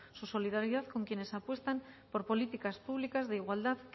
su solidaridad con quienes apuestan por políticas públicas de igualdad